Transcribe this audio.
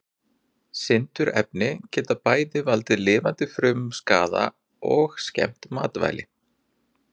Sindurefni geta bæði valdið lifandi frumum skaða og skemmt matvæli.